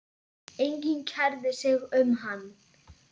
Enginn kærði sig um hann.